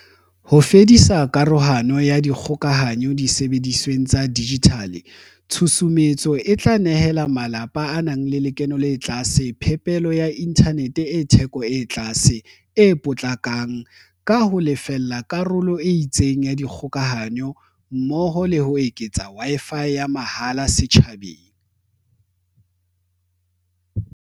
Ho fedisa karohano ya dikgokahanyo disebedisweng tsa dijithale, tshusumetso e tla nehela malapa a nang le lekeno le tlase phepelo ya inthanete e theko e tlase, e potlakang ka ho a lefella karolo e itseng ya dikgokahanyo mmoho le ho eketsa Wi-Fi ya mahala setjhabeng.